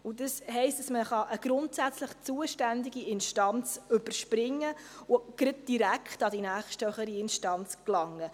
Das heisst, man kann eine grundsätzlich zuständige Instanz überspringen und gleich direkt an die nächsthöhere Instanz gelangen.